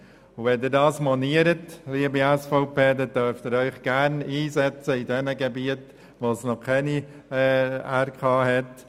Und wenn Sie das monieren, liebe SVP, dann dürfen Sie sich gerne in denjenigen Gebieten einsetzen, wo es noch keine Regionalkonferenzen gibt.